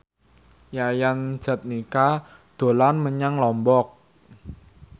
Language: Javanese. Yayan Jatnika dolan menyang Lombok